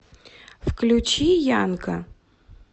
включи янка